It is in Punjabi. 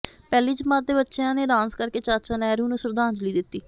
ਪਹਿਲੀ ਜਮਾਤ ਦੇ ਬੱਚਿਆਂ ਨੇ ਡਾਂਸ ਕਰਕੇ ਚਾਚਾ ਨਹਿਰੂ ਨੂੰ ਸ਼ਰਧਾਂਜਲੀ ਦਿੱਤੀ